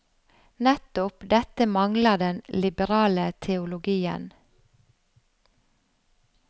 Nettopp dette mangler den liberale teologien.